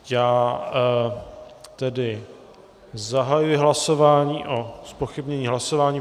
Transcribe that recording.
Já tedy zahajuji hlasování o zpochybnění hlasování.